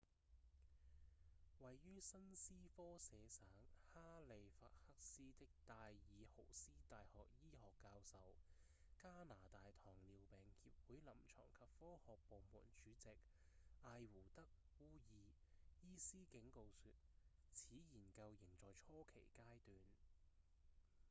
位於新斯科舍省哈利法克斯的戴爾豪斯大學醫學教授、加拿大糖尿病協會臨床及科學部門主席埃胡德·烏爾 ehud ur 醫師警告說此研究仍在初期階段